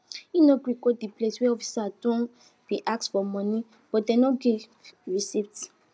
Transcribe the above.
him no gree go de place wey officers don bin ask for monie but dem no give receipts